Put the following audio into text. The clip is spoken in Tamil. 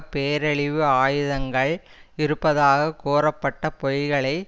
பேரழிவு ஆயுதங்கள் இருப்பதாக கூறப்பட்ட பொய்களை